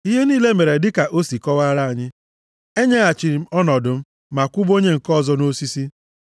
Ihe niile mere dịka o si kọwara anyị. E nyeghachiri m ọnọdụ m, ma kwụba onye nke ọzọ nʼosisi.”